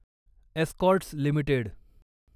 Escorts limited